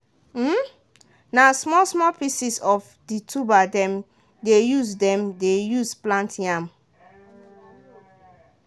na small-small pieces of the tuber dem de use dem de use plant yam.